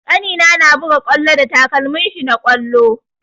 Ƙanina na buga ƙwallo da takalmin shi na ƙwallo.